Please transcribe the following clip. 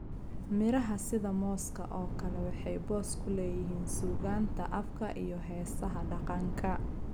Miraha sida mooska oo kale waxay boos ku leeyihiin suugaanta afka iyo heesaha dhaqanka.